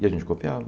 E a gente copiava.